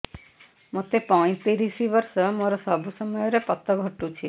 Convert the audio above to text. ମୋତେ ପଇଂତିରିଶ ବର୍ଷ ମୋର ସବୁ ସମୟରେ ପତ ଘଟୁଛି